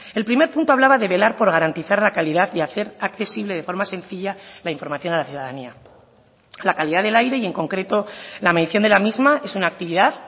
el primer punto hablaba de velar por garantizar la calidad y hacer accesible de forma sencilla la información a la ciudadanía la calidad del aire y en concreto la medición de la misma es una actividad